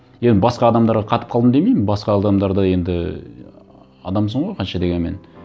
енді басқа адамдарға қатып қалдым демеймін басқа адамдар да енді адамсың ғой қанша дегенмен